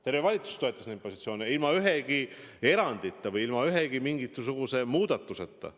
Terve valitsus toetab neid positsioone – ilma ühegi erandita, ilma ühegi mingisuguse muudatuseta.